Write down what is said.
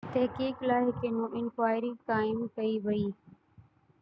تحقيق لاءِ هڪ انڪوائري قائم ڪئي وئي